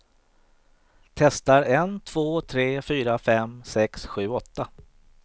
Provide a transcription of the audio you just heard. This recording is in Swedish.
Testar en två tre fyra fem sex sju åtta.